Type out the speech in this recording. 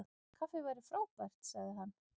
Kaffi væri frábært- sagði hann.